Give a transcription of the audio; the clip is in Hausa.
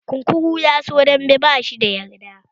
Kunkuru ya so dambe, bashi da yarda